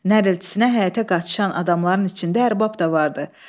Nəriltisinə həyətə qaçışan adamların içində ərbab da vardı.